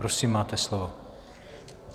Prosím, máte slovo.